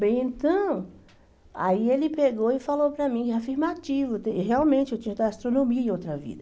Bem, então, aí ele pegou e falou para mim, afirmativo, realmente eu tinha ido para a astronomia em outra vida.